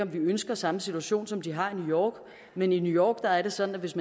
vi ønsker samme situation som de har i new york men i new york er det sådan at hvis